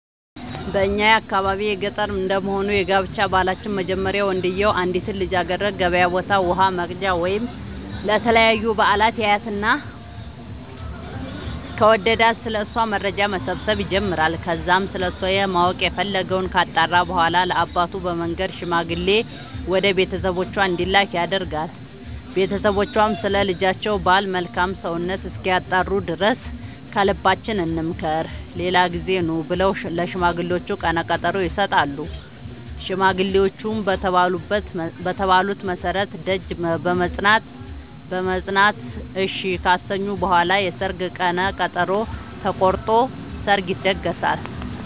በእኛ የአካባቢ ገጠር እንደመሆኑ የጋብቻ ባህላችን መጀመሪያ ወንድዬው አንዲትን ልጃገረድ ገበያ ቦታ ውሃ ወቅጃ ወይም ለተለያዩ በአላት ያያትና ከወደዳት ስለ እሷ መረጃ መሰብሰብ ይጀምራይ ከዛም ስለሷ ማወቅ የፈለገወን ካጣራ በኋላ ለአባቱ በመንገር ሽማግሌ ወደ ቤተሰቦቿ እንዲላክ ያደርጋል ቦተሰቦቿም ስለ ልጃቸው ባል መልካም ሰውነት እስኪያጣሩ ድረስ ከልባችን እንምከር ሌላ ጊዜ ኑ ብለው ለሽማግሌዎቹ ቀነቀጠሮ ይሰጣሉ ሽማግሌዎቹም በተባሉት መሠረት ደጅ በመፅና እሺ ካሰኙ በኋላ የሰርግ ቀን ተቆርጦ ሰርግ ይደገሳል።